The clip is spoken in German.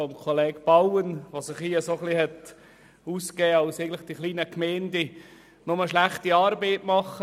Er hat sich ein bisschen so ausgedrückt, als würden die kleinen Gemeinden nur schlechte Arbeit leisten.